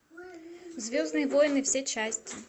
звездные войны все части